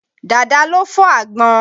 Dàda ló fọ́ àgbọn.